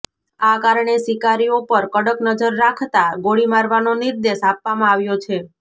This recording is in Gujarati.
આ કારણે શિકારીઓ પર કડક નજર રાખતા ગોળી મારવાનો નિર્દેશ આપવામાં આવ્યો છે